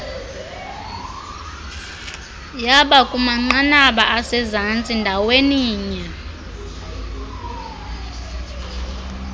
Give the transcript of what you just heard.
yabakumanqanaba asezantsi ndaweninye